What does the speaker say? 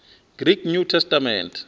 greek new testament